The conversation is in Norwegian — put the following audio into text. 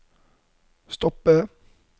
stoppe